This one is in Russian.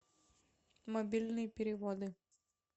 мобильные переводы